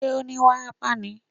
Ṣé ó ní wárápá ni?